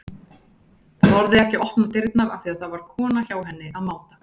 Þorði ekki að opna dyrnar af því að það var kona hjá henni að máta.